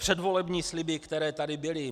Předvolební sliby, které tady byly.